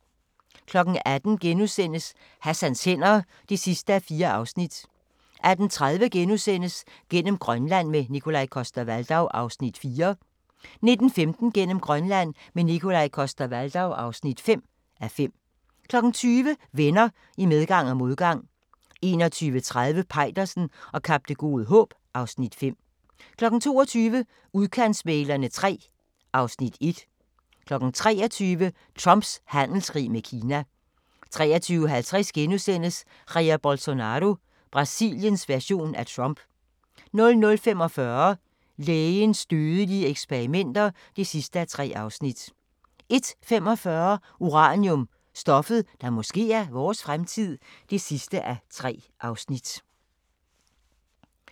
18:00: Hassans hænder (4:4)* 18:30: Gennem Grønland – med Nikolaj Coster-Waldau (4:5)* 19:15: Gennem Grønland – med Nikolaj Coster-Waldau (5:5) 20:00: Venner i medgang og modgang 21:30: Peitersen og Kap Det Gode Håb (Afs. 5) 22:00: Udkantsmæglerne III (Afs. 1) 23:00: Trumps handelskrig med Kina 23:50: Jair Bolsonaro – Brasiliens version af Trump * 00:45: Lægens dødelige eksperimenter (3:3) 01:45: Uranium – stoffet, der måske er vores fremtid (3:3)